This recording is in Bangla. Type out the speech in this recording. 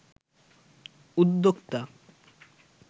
উদ্যোক্তা